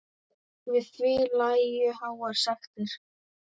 Við því lægju háar sektir.